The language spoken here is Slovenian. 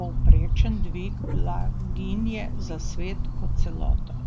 povprečen dvig blaginje za svet kot celoto.